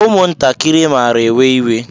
Ụmụntakịrị mara ewe-iwe.